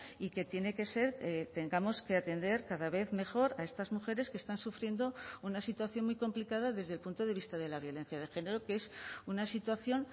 y que tiene que ser tengamos que atender cada vez mejor a estas mujeres que están sufriendo una situación muy complicada desde el punto de vista de la violencia de género que es una situación